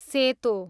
सेतो